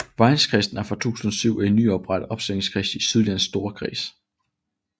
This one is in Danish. Vejenkredsen er fra 2007 en nyoprettet opstillingskreds i Sydjyllands Storkreds